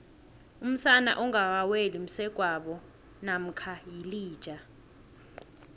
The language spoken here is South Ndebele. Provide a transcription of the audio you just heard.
umsana ongakaweli msegwabo namkha yilija